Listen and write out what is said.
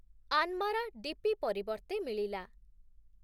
ଆନ୍‌ମାରା DP ପରିବର୍ତ୍ତେ ମିଳିଲା ।